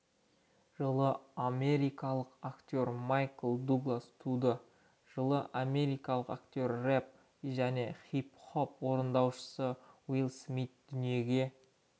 жылы америкалық актер майкл дуглас туды жылы америкалық актер рэп және хип-хоп орындаушысы уилл смит дүниеге